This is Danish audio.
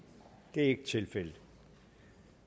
det er ikke tilfældet